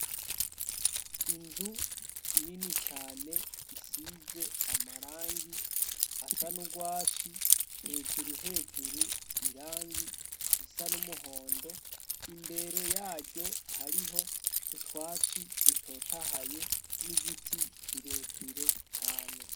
Inzu nini cane isize amarangi asa n'ugwatsi hejuru hejuru irangi risan'umuhondo imbere yaryo hariho utwatsi dutotahaye n'igiti kirekire cane.